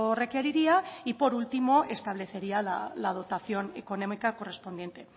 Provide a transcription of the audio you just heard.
requeriría y por último establecería la dotación económica correspondiente